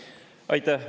Aitäh!